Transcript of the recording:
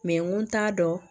n ko t'a dɔn